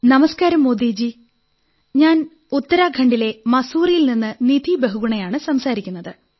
നമസ്കാരം മോദി ജി ഞാൻ ഉത്തരാഖണ്ഡിലെ മസൂറിയിൽ നിന്ന് നിധി ബഹുഗുണയാണു സംസാരിക്കുന്നത്